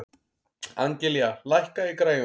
Angelía, lækkaðu í græjunum.